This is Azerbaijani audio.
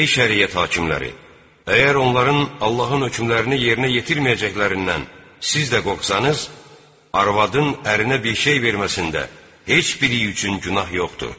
Ey şəriət hakimləri, əgər onların Allahın hökmlərini yerinə yetirməyəcəklərindən siz də qorxsanız, arvadın ərinə bir şey verməsində heç biri üçün günah yoxdur.